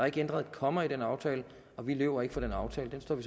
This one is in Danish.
ikke ændret et komma i den aftale og vi løber ikke fra den aftale vi står